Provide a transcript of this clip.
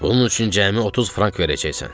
Bunun üçün cəmi 30 frank verəcəksən.